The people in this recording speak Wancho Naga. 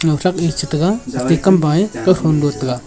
lahchak ni cheh tega hawai kam payai kow phang ngo tega.